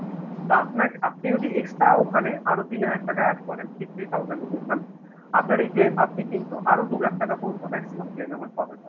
তা আপনার আপনি যদি extra ওখানে আরো তিন হাজার টাকা add করেন three thousand ঢুকেছে mam আপনার এই কে আপনি কিন্তু আরো দু লাখ টাকা পর্যন্ত maximum claim amount পাবেন mam